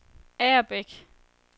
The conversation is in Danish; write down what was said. Agerbæk